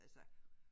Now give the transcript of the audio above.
Altså